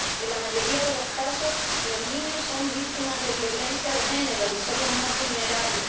En la mayoría de los casos, los niños son víctimas de violencia de género y son los más vulnerables.